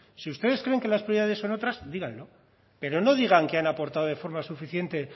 si ustedes creen que las prioridades son otras díganlo pero no digan que han aportado de forma suficiente